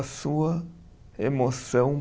Sua emoção